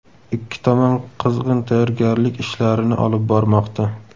Ikki tomon qizg‘in tayyorgarlik ishlarini olib bormoqda.